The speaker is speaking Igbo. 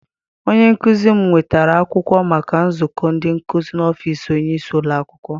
Onye nkụzi m nwetara akwụkwọ maka nzukọ ndị nkụzi n'ọfịịsi onyeisi ụlọakwụkwọ.